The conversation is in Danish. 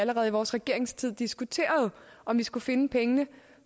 allerede i vores regeringstid diskuterede om vi skulle finde pengene